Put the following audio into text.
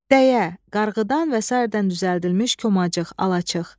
Dəyə, qarğıdan və sairədən düzəldilmiş komacıq, alaçıq.